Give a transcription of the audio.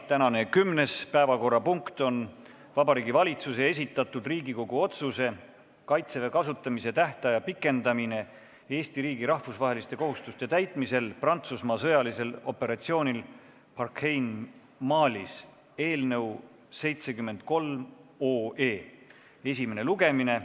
Tänane kümnes päevakorrapunkt on Vabariigi Valitsuse esitatud Riigikogu otsuse "Kaitseväe kasutamise tähtaja pikendamine Eesti riigi rahvusvaheliste kohustuste täitmisel Prantsusmaa sõjalisel operatsioonil Barkhane Malis" eelnõu 73 esimene lugemine.